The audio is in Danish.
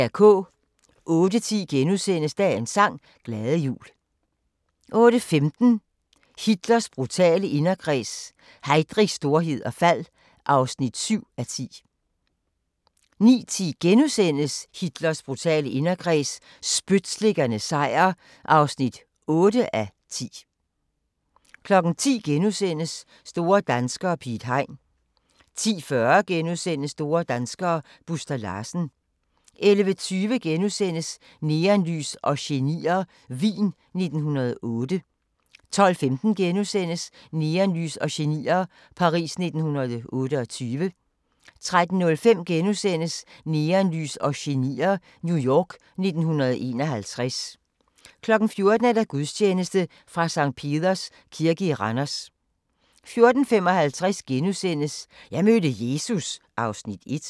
08:10: Dagens sang: Glade jul * 08:15: Hitlers brutale inderkreds – Heydrichs storhed og fald (7:10) 09:10: Hitlers brutale inderkreds – spytslikkernes sejr (8:10)* 10:00: Store danskere - Piet Hein * 10:40: Store danskere - Buster Larsen * 11:20: Neonlys og genier – Wien 1908 * 12:15: Neonlys og genier – Paris 1928 * 13:05: Neonlys og genier – New York 1951 * 14:00: Gudstjeneste fra Sct. Peders Kirke i Randers 14:55: Jeg mødte Jesus (Afs. 1)*